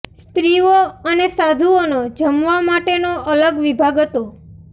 સ્ત્રિઓ અને સાધુઓ નો જમવા માટે નો અલગ વિભાગ હતો